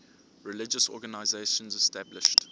religious organizations established